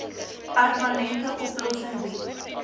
permanente oplossing bied